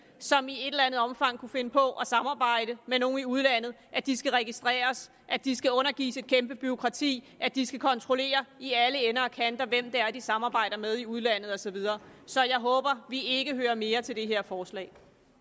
som i et eller andet omfang kunne finde på at samarbejde med nogle i udlandet at de skal registreres at de skal undergives et kæmpe bureaukrati at de skal kontrollere i alle ender og kanter hvem det er de samarbejder med i udlandet og så videre så jeg håber at vi ikke hører mere til det her forslag